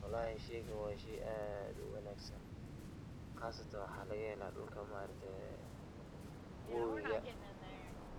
Walahi sheygan wa shey aad uwanagsan, gaastan waxa lagahela dulka maarakte wowiga